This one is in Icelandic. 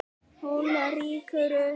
Hún rýkur upp.